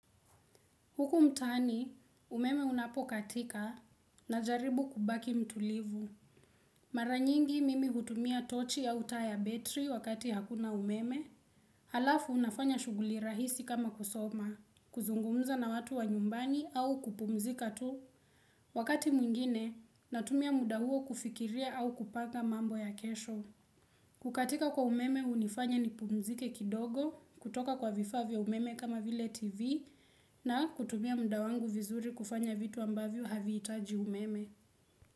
Huku mtaani, umeme unapokatika najaribu kubaki mtulivu. Mara nyingi mimi hutumia tochi au taa ya betri wakati hakuna umeme. Halafu unafanya shughuli rahisi kama kusoma. Kuzungumza na watu wa nyumbani au kupumzika tu wakati mwingine natumia muda huo kufikiria au kupanga mambo ya kesho. Kukatika kwa umeme hunifanya nipumzike kidogo kutoka kwa vifaa vya umeme kama vile tv na kutumia muda wangu vizuri kufanya vitu ambavyo havihitaji umeme.